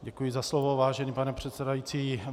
Děkuji za slovo, vážený pane předsedající.